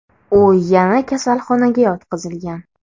U yana kasalxonaga yotqizilgan.